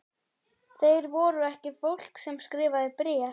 Þeir voru ekki fólk sem skrifaði bréf.